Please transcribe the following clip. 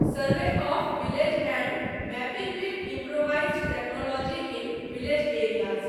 survey of village and mapping with improvised technology in village areas